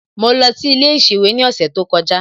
Mo lọ sí ilé ìsèwé ní ọ̀sẹ̀ tó kọjá